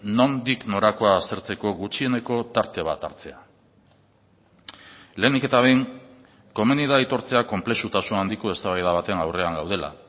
nondik norakoa aztertzeko gutxieneko tarte bat hartzea lehenik eta behin komeni da aitortzea konplexutasun handiko eztabaida baten aurrean gaudela